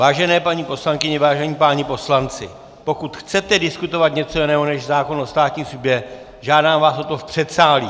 Vážené paní poslankyně, vážení páni poslanci, pokud chcete diskutovat něco jiného než zákon o státní službě, žádám vás o to v předsálí.